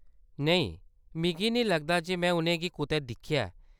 नेईं, मिगी नेईं लगदा जे में उ'नेंगी कुतै दिक्खेआ ऐ।